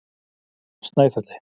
Snæfelli